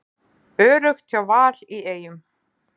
Öruggt hjá Val í Eyjum